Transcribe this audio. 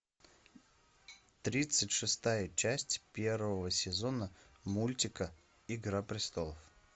тридцать шестая часть первого сезона мультика игра престолов